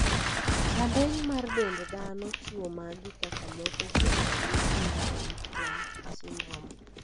Rameny mar dend dhano chiwo magi kaka moko kuom ranyisi mar Roifman syndrome?